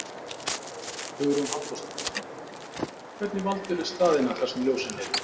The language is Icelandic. Hugrún Halldórsdóttir: Hvernig valdirðu staðina þar sem ljósin eru?